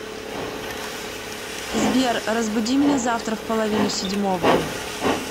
сбер разбуди меня завтра в половину седьмого